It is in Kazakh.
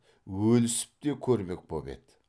өлісіп те көрмек боп еді